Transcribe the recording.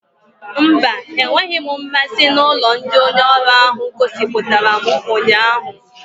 Mba, enweghị m mmasị na ụlọ ndị onye ọrụ ahụ gosipụtara m ụnyaahụ